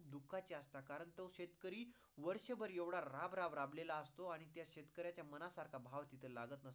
दुःखाचे असतात कारण तो शेतकरी वर्ष एवढाभर राब - राब राबलेला असतो आणि त्या शेतकऱ्याचा मनासारखा भाव तिथं लागत नाही.